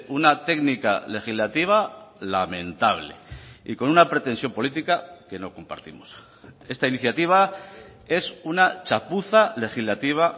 una técnica legislativa lamentable y con una pretensión política que no compartimos esta iniciativa es una chapuza legislativa